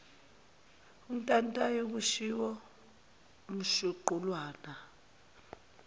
untantayo kushiwo umshuqulwana